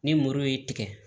Ni moro ye tigɛ